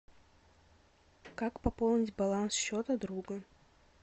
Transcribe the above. как пополнить баланс счета друга